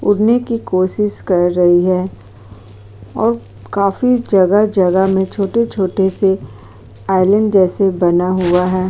उड़ने की कोशिश कर रही है और काफी जगह-जगह में छोटे छोटे से आइलैंड जैसे बना हुआ है।